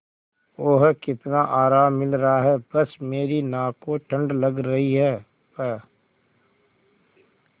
ओह कितना आराम मिल रहा है बस मेरी नाक को ठंड लग रही है प्